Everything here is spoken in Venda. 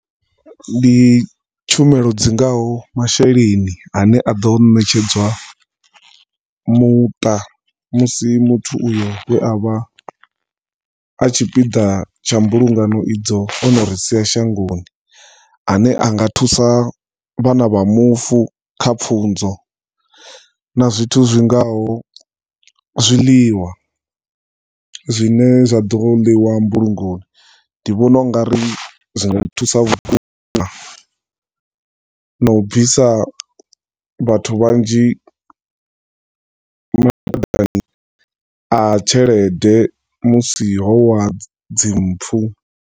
Ndi tshumelo dzingaho masheleni ane aḓo ṋetshedzwa muṱa musi muthu uyo we avha a tshipiḓa tsha mbulungano idzo ono ri sia shangoni ane a nga thusa vhana vha mufu kha pfunzo na zwithu zwingaho zwiḽiwa zwine zwaḓo ḽiwa mbulungoni ndi vhona ungari zwinga thusa vhukuma na u bvisa vhathu vhanzhi mathadani a tshelede musi ho wa dzi mpfu.